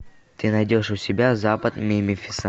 ты найдешь у себя запад мемфиса